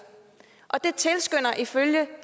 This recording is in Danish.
og det tilskynder ifølge